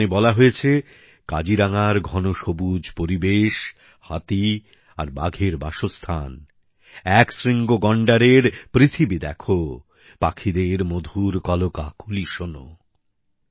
এই গানে বলা হয়েছে কাজিরাঙ্গার ঘন সবুজ পরিবেশ হাতি আর বাঘের বাসস্থান একশৃঙ্গ গন্ডারের পৃথিবী দেখো পাখিদের মধুর কলকাকলি শোনো